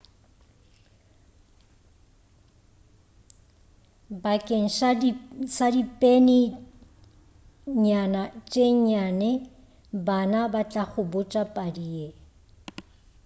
bakeng sa dipeni nyana tše nnyane bana ba tla go botša padi ye